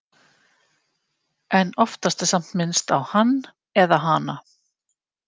En oftast er samt minnst á Hann eða Hana.